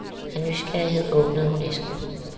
Af nysgerrighed åbnede hun æsken.